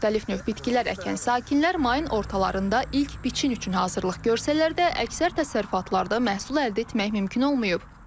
Müxtəlif növ bitkilər əkən sakinlərin mayın ortalarında ilk biçin üçün hazırlıq görsələr də, əksər təsərrüfatlarda məhsul əldə etmək mümkün olmayıb.